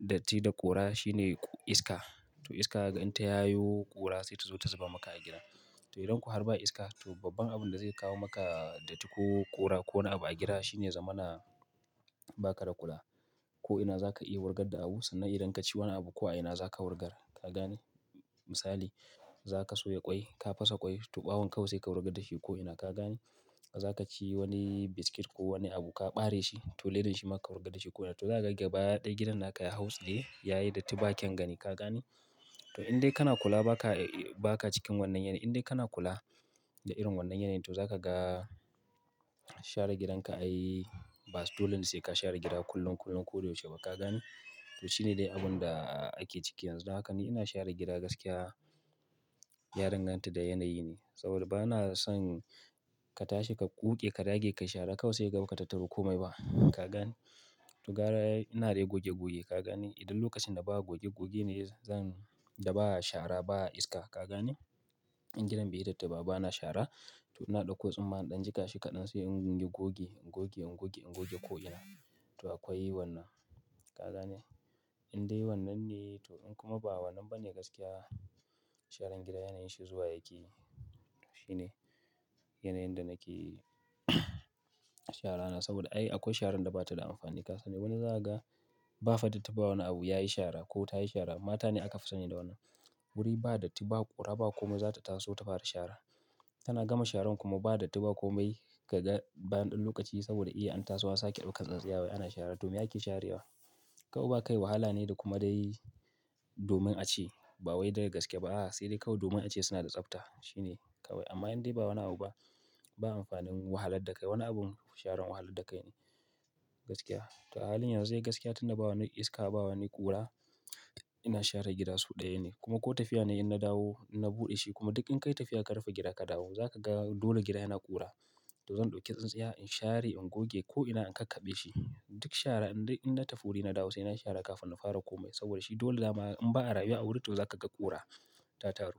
datti da ƙura shine iska. To iska in ta yayo ƙura sai ta zo ta zuba maka a gida. To idan ko harba iska to babban abun da zai kawo maka datti ko ƙura ko wani abu a gida shine ya zamana ba ka da kula. Ko'ina za ka iya wurgar da abu sannan idan ka ci wani abu ko a ina za ka wurgar. Ka gane? Misali za ka soya ƙwai, ka fasa ƙwai to ɓawon ƙawai sai ka wurgar da shi ko'ina. Ka gane? Za ka ci wani biskit ko wani abu ka bare shi to ledan shi ma ka wurgar da shi ko'ina. To za ka ga gaba daya gidan naka ya hautsiye, yayi datti ba kyan gani. Ka gane? To indai kana kula ba ka, ba ka cikin wannan yanayi. Indai kana kula da irin wannan yanayi to za ka ga share gidanka ai ba dole sai ka share gida kullum, kullum. Ko da yaushe ba ka gane? To shi ne dai abun da ake ciki yanzu. Haka ni ina share gida gaskiya ya danganta da yanayi ne. Saboda bana son ka tashi, ka ƙuke, ka dage, ka shara ƙawai sai kaga ba ka tattaro kome ba. Ka gane? To gara ina dai goge-goge. Ka gane? Idan lokacin da ba a goge-goge ne zan, da ba'a shara ba'a iska. Ka gane? In gidan bai yi datti ba, bana share. To ina ɗauko tsumma in ɗan jika shi kaɗan sai in goge goge, in goge, in goge ko'ina. To akwai wannan. Ka gane? Indai wannan ne to in kuma ba wannan ba ne gaskiya sharan gida yanayin shi zuwa yake yi. Shi ne yanayin da nake shara na. Saboda ai akwai sharan da bata da amfani. Wato wani za ka ga ba fa datti ba wani abu yayi shara ko tayi shara. Mata ne aka fi sani da wannan. Wuri ba datti, ba ƙura, ba kome za ta taso ta fara shara. Tana gama sharan kuma ba datti ba komai. Ka ga bayan ɗan lokaci saboda iya an taso an sake ɗaukar tsintsiya wai ana shara. To me ake sharewa? Ƙawai ba kai wahala ne da kuma dai domin a ce bawai da ga gaske ba. Sai dai kawai domin a ce suna da tsafta. Shi ne kawai. Amma indai ba wani abu ba, ba amfanin wahalar da kai. Wani abun sharan wahalar da kai ne gaskiya. To a halin yanzu dai gaskiya tunda ba wani iska, ba wani ƙura ina share gida sau ɗaya ne. Kuma ko tafiya nayi in na dawo, na buɗe shi kuma duk in kai tafiya ka rufe gida ka dawo. Za ka ga dole gida yana ƙura. To zan ɗauki tsintsiya in share, in goge ko'ina, in kakkaɓe shi. Duk shara indai in na tafi wuri na dawo sai na yi shara kafin na fara kome. Saboda shi dole dama in ba a rayuwa a wuri to za ka ga ƙura ta taru.